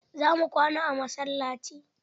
Za mu kwana a masallaci.